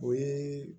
O ye